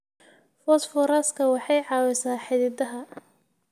Fosfooraska waxay caawisaa xididdada.